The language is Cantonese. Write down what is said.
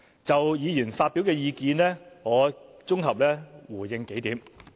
就議員發表的意見，我綜合回應數項。